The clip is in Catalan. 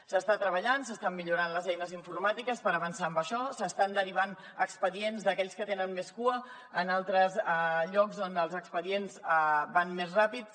s’hi està treballant s’estan millorant les eines informàtiques per avançar en això s’estan derivant expedients d’aquells que tenen més cua a altres llocs on els expedients van més ràpids